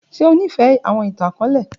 Ṣe o nifẹ awọn itan-akọọlẹ?